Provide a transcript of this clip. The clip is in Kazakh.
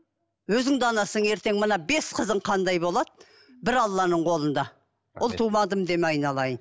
өзің де анасың ертең мына бес қызың қандай болады бір алланың қолында ұл тумадым деме айналайын